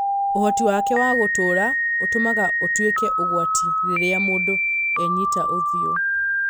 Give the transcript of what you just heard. Ũhoti wake wa gũtũra ũtũmaga ũtwĩke ũgwati rĩrĩa mũndũ enyita ũthiũ